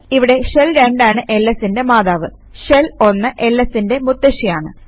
ഇവിടെ ഷെൽ 2 ആണ് lsന്റെ മാതാവ് ഷെൽ 1 lsന്റെ മുത്തശ്ശിയാണ്